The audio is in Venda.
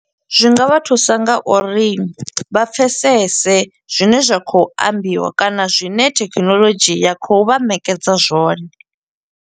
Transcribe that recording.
Zwi nga vha thusa ngauri, vha pfesese zwine zwa khou ambiwa, kana zwine thekhinolodzhi ya khou vha ṋekedza zwone.